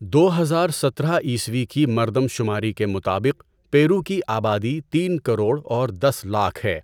دو ہزار سترہ عیسوی کی مردم شماری کے مطابق پیرو کی آبادی تین کروڑ اور دس لاکھ ہے۔